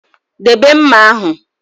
Debe mma ahụ!